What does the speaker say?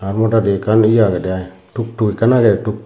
aa modadi ekkan ye agedey i tuktuk ekkan agey tuktuk.